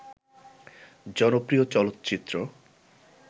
জনপ্রিয় চলচ্চিত্র